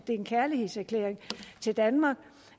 det er en kærlighedserklæring til danmark